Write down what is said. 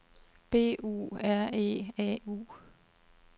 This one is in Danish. B U R E A U